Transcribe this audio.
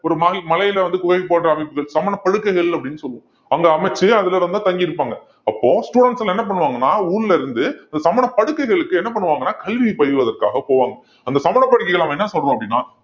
ஒரு மலை~ மலையில வந்து குகை போன்ற அமைப்புகள் சமண படுக்கைகள் அப்படின்னு சொல்லுவோம் அங்க அமைத்து அதுல இருந்துதான் தங்கி இருப்பாங்க அப்போ students எல்லாம் என்ன பண்ணுவாங்கன்னா ஊர்ல இருந்து இந்த சமண படுக்கைகளுக்கு என்ன பண்ணுவாங்கன்னா கல்வியை பயில்வதற்காக போவாங்க அந்த சமண படுக்கைகளை அவன் என்ன சொல்றான் அப்படின்னா